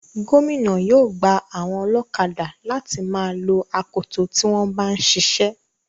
Gómìnà yóò gba àwọn ọlọ́kadà láti má a lo akoto tí wọ́n bá ń siṣẹ́.